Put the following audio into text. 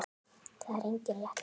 Það er engin rétt leið.